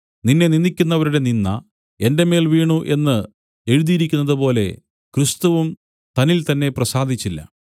നിന്നെ നിന്ദിക്കുന്നവരുടെ നിന്ദ എന്റെ മേൽ വീണു എന്നു എഴുതിയിരിക്കുന്നതുപോലെ ക്രിസ്തുവും തന്നിൽതന്നേ പ്രസാദിച്ചില്ല